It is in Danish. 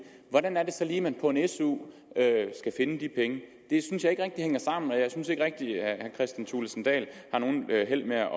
hvordan er det så lige at man på en su skal finde de penge det synes jeg ikke rigtig hænger sammen og jeg synes ikke rigtig herre kristian thulesen dahl har held med at